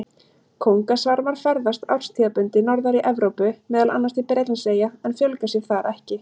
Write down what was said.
Kóngasvarmar ferðast árstíðabundið norðar í Evrópu, meðal annars til Bretlandseyja, en fjölga sér þar ekki.